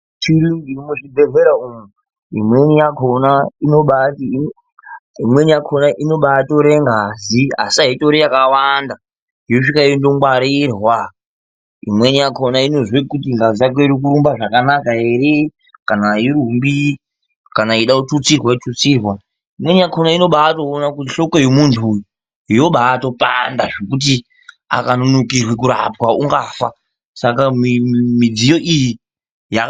Midziyo yechiyungu iri muzvibhedhlera umwo, imweni yakhona inobaatore ngazi asi aitori yakawanda yoguma yongwarirwa, imweni yakhona inozwe kuti ngazi yako inorumba zvakanaka ere kana airumbi, kana yeide kututsirwa yotutsirwa. Imweni yakhona inobaatoona kuti hloko yemunthu uyu yobaato panda akanonokerwa kurapwa ungafa.